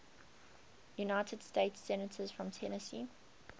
united states senators from tennessee